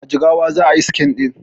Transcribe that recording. A jigawa za ayi scene ɗin